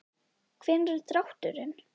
Hvenær er drátturinn?